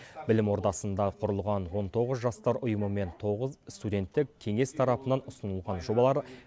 білім ордасында құрылған он тоғыз жастар ұйымы мен тоғыз студенттік кеңес тарапынан ұсынылған жобалар